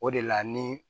O de la ni